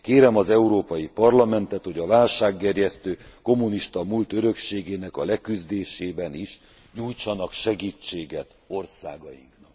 Kérem az Európai Parlamentet, hogy a válsággerjesztő kommunista múlt örökségének a leküzdésében is nyújtsanak segítséget országainknak.